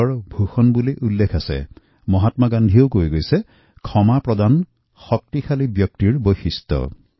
এই আলোচনা আমি বহুদিন ধৰি শুনি আহিছো আৰু মহাত্মা গান্ধীয়ে প্ৰায়েই কৈছিলক্ষমা কৰা একমাত্ৰ শক্তিশালী আৰু বলবান ব্যক্তিৰ বৈশিষ্ট্য